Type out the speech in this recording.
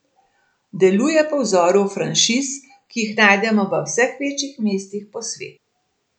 Deluje po vzoru franšiz, ki jih najdemo v vseh večjih mestih po svetu.